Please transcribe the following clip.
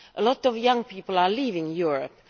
Many young people are leaving Europe.